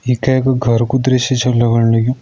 ई कै कु घर कु दृश्य छ लगण लग्युं।